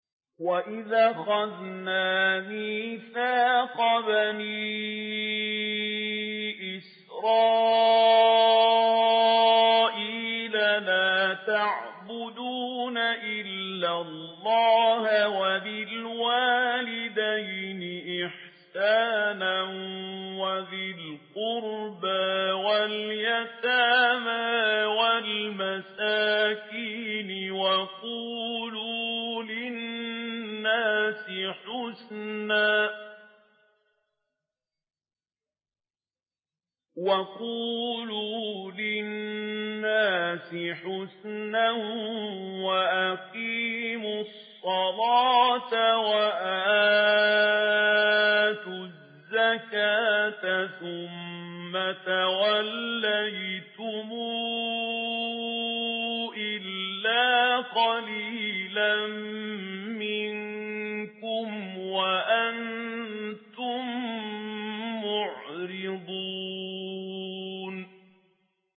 وَإِذْ أَخَذْنَا مِيثَاقَ بَنِي إِسْرَائِيلَ لَا تَعْبُدُونَ إِلَّا اللَّهَ وَبِالْوَالِدَيْنِ إِحْسَانًا وَذِي الْقُرْبَىٰ وَالْيَتَامَىٰ وَالْمَسَاكِينِ وَقُولُوا لِلنَّاسِ حُسْنًا وَأَقِيمُوا الصَّلَاةَ وَآتُوا الزَّكَاةَ ثُمَّ تَوَلَّيْتُمْ إِلَّا قَلِيلًا مِّنكُمْ وَأَنتُم مُّعْرِضُونَ